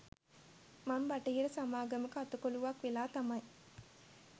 මං බටහිර සමාගමක අතකොළුවක් වෙලා තමයි